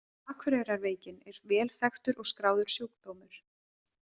Akureyrarveikin er vel þekktur og skráður sjúkdómur.